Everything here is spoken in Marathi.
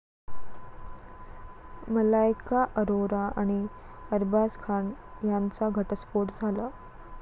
मलायका अरोरा आणि अरबाज खान यांचा घटस्फोट झाला.